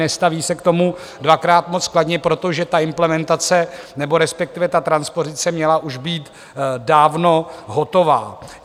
Nestaví se k tomu dvakrát moc kladně, protože ta implementace nebo respektive ta transpozice měla už být dávno hotová.